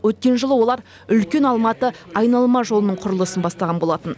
өткен жылы олар үлкен алматы айналма жолының құрылысын бастаған болатын